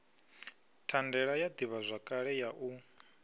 thandela ya ḓivhazwakale ya u